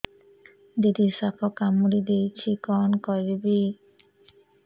ଦିଦି ସାପ କାମୁଡି ଦେଇଛି କଣ କରିବି